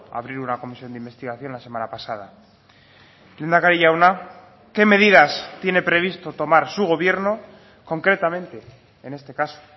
abrir una comisión de investigación la semana pasada lehendakari jauna qué medidas tiene previsto tomar su gobierno concretamente en este caso